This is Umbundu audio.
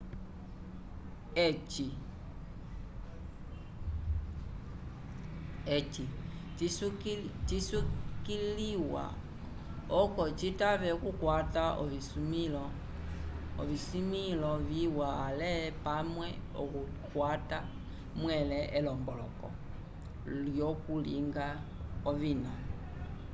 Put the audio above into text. eci cisukiliwa oco citave okukwata ovisimĩlo viwa ale pamwe okukwata mwẽle elomboloko lyokulinga ovina